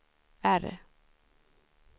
R